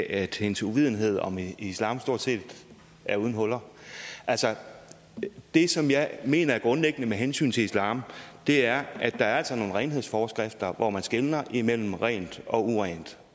at hendes uvidenhed om islam stort set er uden huller altså det som jeg mener er grundlæggende med hensyn til islam er at der er nogle renhedsforskrifter hvor man skelner mellem rent og urent